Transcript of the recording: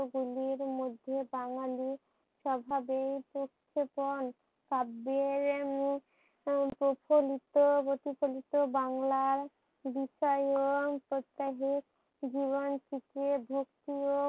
গুলির মধ্যে বাঙালির সভাবেই প্রত্নপন শব্দের উম প্রচলিত প্রচলিত বাংলার বিস্ময় ও প্রত্যাহে জীবন থেকে ভক্তিও